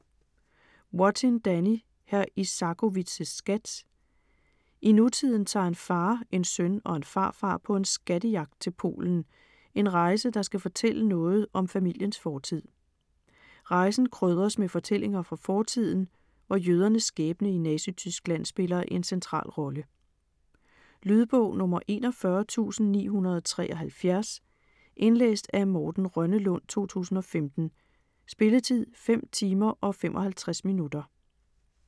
Wattin, Danny: Hr. Isakowitz' skat I nutiden tager en far, en søn og en farfar på en "skattejagt" til Polen - en rejse, der skal fortælle noget om familiens fortid. Rejsen krydres med fortællinger fra fortiden, hvor jødernes skæbne i Nazityskland spiller en central rolle. Lydbog 41973 Indlæst af Morten Rønnelund, 2015. Spilletid: 5 timer, 55 minutter.